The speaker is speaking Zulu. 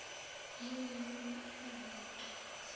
luma luma izaqathi